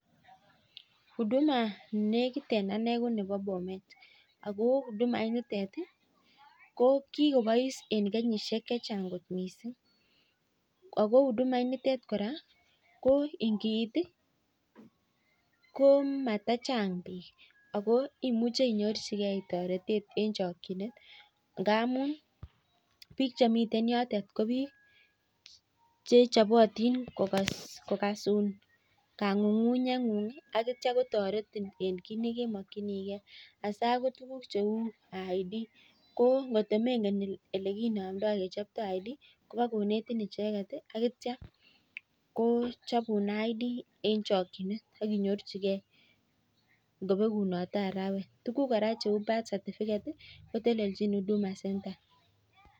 huduma nenekitien en ane ko bomet ko huduma initet ih ko kikobos en kenyisiek chechang' missing',Ako huduma initet ko ingiit ih ko mata Chang bik Ako imuche inyorchikee taretet en chakchinet ngamun bik cheten yotet ko bik chechobotin kokasun kang'ung'unyet ng'ung akoteretin asa ko tuguk cheuu IDko atemengen olekichobto identity documents kobokonetin icheket ih. Ko chabun ID en chakchinet